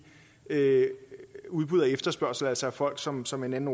udbud og efterspørgsel altså at folk sådan som en anden